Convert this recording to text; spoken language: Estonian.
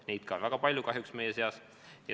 Neid on ka kahjuks väga palju.